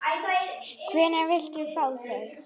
Hvenær viltu fá þau?